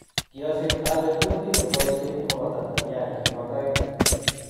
Kiasich ale kutit ne boisien komabo Tanzania, Kibo toek